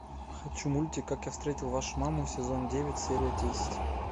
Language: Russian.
хочу мультик как я встретил вашу маму сезон девять серия десять